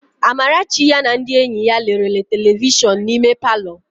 Amarachi ya na ndị enyi ya lere telivishọn n'ime palọ.